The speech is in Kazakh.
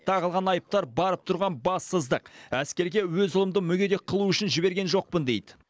тағылған айыптар барып тұрған бассыздық әскерге өз ұлымды мүгедек қылу үшін жіберген жоқпын дейді